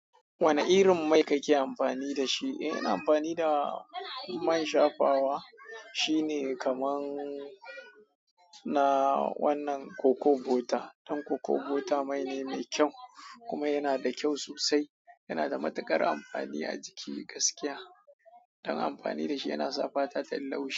Wane irin mai kake amfani da shi? Eh, ina amfani da man shafawa. Shi ne kamar na wannan coco butter. Dan coco butter mai ne mai kyau kuma yana da kyau sosai. Yana da matuƙar amfani a jiki gaskiya. Dan amfani da shi yana sa fata tai laushi.